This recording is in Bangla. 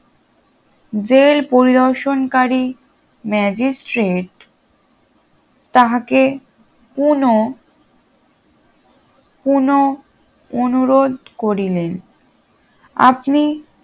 জেল পরিদর্শনকারী ম্যাজিস্ট্রেট তাহাকে কোনো কোনো অনুরোধ করিলেন আপনি